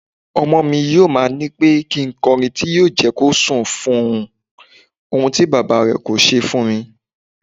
Ọmọmi yóò ma nípẹ́ kí nkọrin tí yọ jẹ́kí ó sùn fún ohun, ohun tí Bàbámi kò ṣe fúnmi.